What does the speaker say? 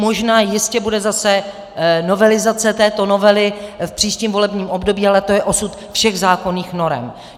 Možná jistě bude zase novelizace této novely v příštím volebním období, ale to je osud všech zákonných norem.